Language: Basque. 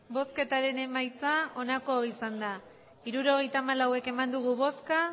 emandako botoak hirurogeita hamalau bai